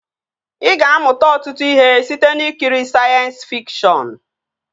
Ị ga-amụta ọtụtụ ihe site n'ikiri sayensị fikshọn